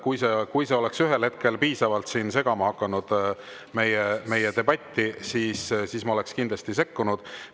Kui see oleks ühel hetkel piisavalt segama hakanud meie debatti, siis ma oleksin kindlasti sekkunud.